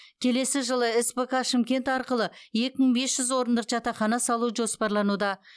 келесі жылы спк шымкент арқылы екі мың бес жүз орындық жатақхана салу жоспарлануда